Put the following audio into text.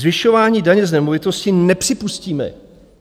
Zvyšování daně z nemovitosti nepřipustíme.